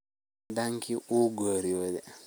Ninki cidanki wuu geryodhe.